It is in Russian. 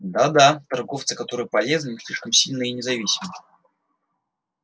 да да торговцы которые полезны но слишком сильны и независимы